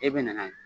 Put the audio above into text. E bɛ na n'a ye